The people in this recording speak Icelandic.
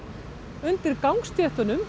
undir gangstéttunum